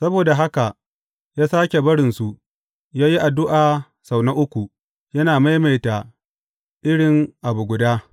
Saboda haka ya sāke barinsu, ya yi addu’a sau na uku, yana maimaita iri abu guda.